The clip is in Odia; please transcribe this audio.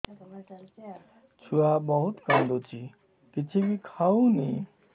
ଛୁଆ ବହୁତ୍ କାନ୍ଦୁଚି କିଛିବି ଖାଉନି